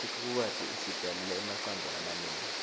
sikhukhukati sitalele emacandza lamanengi